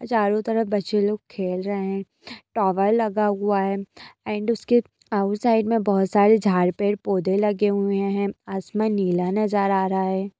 चारों तरफ बच्चे लोग खेल रहे है टॉवर लगा हुआ है एण्ड उसके ऑउट साईड में बहुत सारे झाड़ पेड़ पौधे लगे हुए है आसमान नीला नजर आ रहा है।